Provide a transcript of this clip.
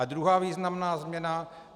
A druhá významná změna.